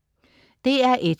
DR1: